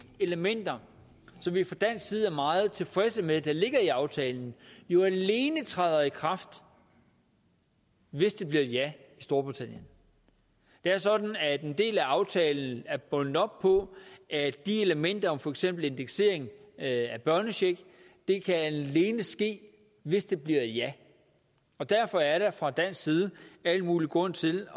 elementer som vi fra dansk side er meget tilfredse med ligger i aftalen jo alene træder i kraft hvis det bliver et ja i storbritannien det er sådan at en del af aftalen er bundet op på at de elementer om for eksempel indeksering af børnecheck alene kan ske hvis det bliver et ja og derfor er der fra dansk side al mulig grund til